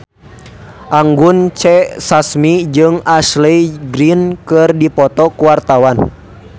Anggun C. Sasmi jeung Ashley Greene keur dipoto ku wartawan